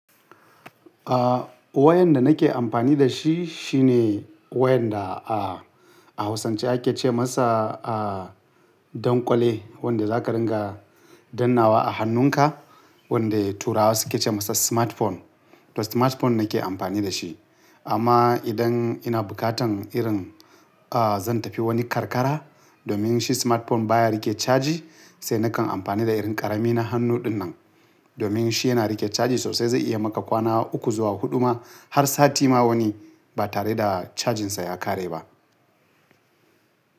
Ah wayan da nake amfani da shi shine wayan da a, a hausance ake ce masa ah donƙwale, wanda za ka ringa dannnawa a hannunka, wanda turawa suke ce masa smartphone. To smartphone nake amfani da shi. Amma idan ina bukatan irin ah zan tafi wani karkara domin shi smartphone baya rike caji, sai nakan amfani da irin ƙarami na hannu dinnan. Domin shi yana rike caji sosai zai iya maka kwana uku zuwa huɗu ma har sati ma wani ba tare da cajinsa ya ƙare ba.